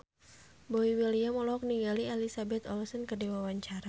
Boy William olohok ningali Elizabeth Olsen keur diwawancara